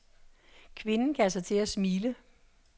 Kvinden gav sig til at smile.